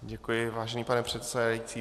Děkuji, vážený pane předsedající.